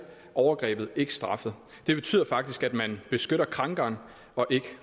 overgrebet ikke straffet det betyder faktisk at man beskytter krænkeren og ikke